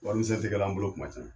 Warimisɛn tɛ kɛ la an bolo kuma caman.